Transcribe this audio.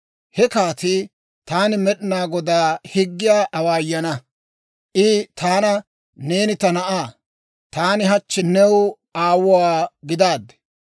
He kaatii, «Taan Med'inaa Godaa higgiyaa awaayana; I taana, ‹Neeni ta na'aa; taani hachchi new aawuwaa gidaaddi.